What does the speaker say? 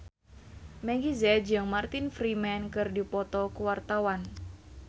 Meggie Z jeung Martin Freeman keur dipoto ku wartawan